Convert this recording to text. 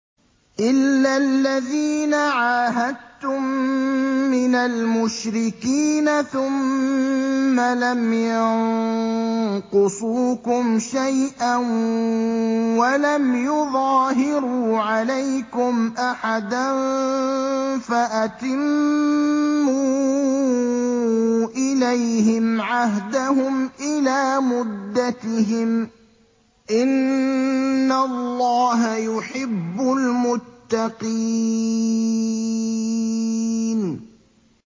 إِلَّا الَّذِينَ عَاهَدتُّم مِّنَ الْمُشْرِكِينَ ثُمَّ لَمْ يَنقُصُوكُمْ شَيْئًا وَلَمْ يُظَاهِرُوا عَلَيْكُمْ أَحَدًا فَأَتِمُّوا إِلَيْهِمْ عَهْدَهُمْ إِلَىٰ مُدَّتِهِمْ ۚ إِنَّ اللَّهَ يُحِبُّ الْمُتَّقِينَ